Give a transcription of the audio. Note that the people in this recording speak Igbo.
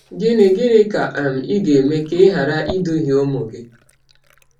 Gịnị Gịnị ka um ị ga-eme ka e ghara iduhie ụmụ gị?